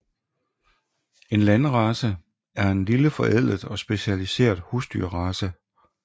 En landrace er en lille forædlet og specialiseret husdyrrace